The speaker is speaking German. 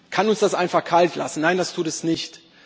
Kann uns das einfach kalt lassen? Nein, das tut es nicht.